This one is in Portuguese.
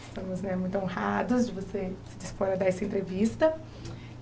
Estamos né muito honrados de você se dispor a dar essa entrevista.